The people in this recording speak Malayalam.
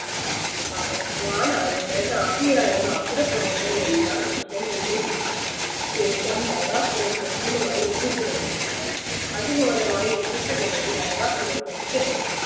അരുണൻ ആദിയായ അസുര പ്രമുഖരെ എല്ലാം കൃഷ്ണൻ നിഗ്രഹിച്ചു ശേഷം നരകാസുരൻ കൃഷ്ണനുമായി യുദ്ധത്തിനിറങ്ങി അതി ഘോരമായ യുദ്ധത്തിനു ഒടുവിൽ നരകാസുരൻ വധിക്കപ്പെട്ടു